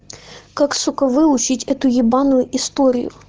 как сука выучить эту ебаную историю